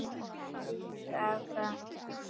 Til í aðra ferð.